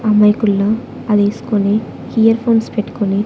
అమాయకుల్లా అదేస్కొని earphones పెట్కొని--